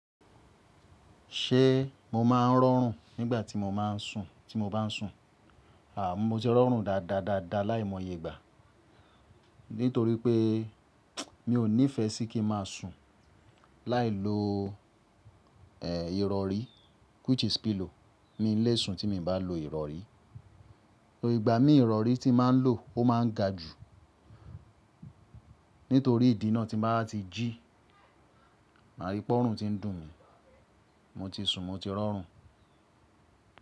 Ṣé mo máa ń rọrùn nígbà tí mo máa ń sùn tí mo bá ń sùn? À mú mo ti rọrùn dáadáa dáadáa láìmọye ìgbà. Nítorí pé mi ò nífẹ́ sí kí n má sùn láì lo ẹ̀ ìrọ̀rí which is pillow n lé sùn tí mi bá lo ìrọ̀rí. Torí ìgbà mí ìrọ̀rí tí n mà ń lò ó máa ń ga jù. Nítorí ìdí náà tí mbá ti jí mà ríi pé ọrùn ti ń dùn mí mo ti sùn mo ti rọrùn.